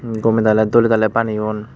um gome dale dole dale baneyon.